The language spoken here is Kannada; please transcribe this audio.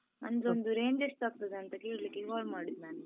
ಅಂದ್ರೆ ಒಂದು range ಎಷ್ಟಾಗ್ತದೆ ಅಂತ ಕೇಳಿಕ್ಕೆ call ಮಾಡಿದ್ದು ನಾನು.